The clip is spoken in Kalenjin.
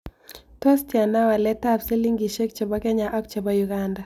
Tos' tiana waletab silingisiek chebo kenya ak chebo uganda